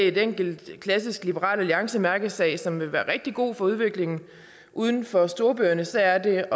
en enkelt klassisk liberal alliancemærkesag som vil være rigtig god for udviklingen uden for storbyerne så er det